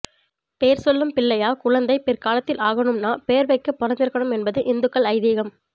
பேர் சொல்லும் பிள்ளை யா குழந்தை பிற்காலத்தில் ஆகனும்னா பேர் வைக்க பொறுத்திருக்கனும் என்பது இந்துக்கள் ஐதீகம்